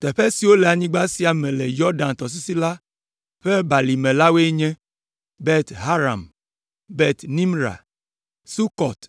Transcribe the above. Teƒe siwo le anyigba sia me le Yɔdan tɔsisi la ƒe balime la woe nye: Bet Haram, Bet Nimra, Sukɔt,